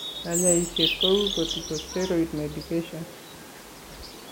Kanyaiset kou corticosteroid medications